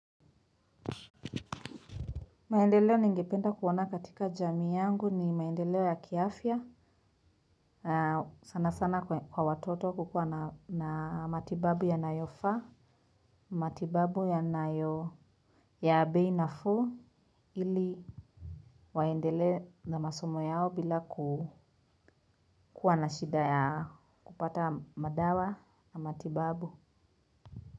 Maendeleo ningependa kuona katika jamii yangu ni maendeleo ya kiafya, sana sana kwa watoto kukua na matibabu yanayofaa, matibabu yanayo ya bei nafuu, ili waendelee na masomo yao bila kukua na shida ya kupata madawa na matibabu.